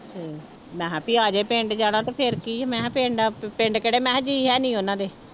ਹਮ ਮੈਂ ਕਿਹਾ ਵੀ ਆ ਜਾਏ ਪਿੰਡ ਜਾਣਾ ਤੇ ਫਿਰ ਕੀ ਆ, ਮੈਂ ਕਿਹਾ ਪਿੰਡ ਪਿੰਡ ਕਿਹੜੇ ਮੈਂ ਕਿਹਾ ਜੀਅ ਹੈਨੀ ਉਹਨਾਂ ਦੇੇ।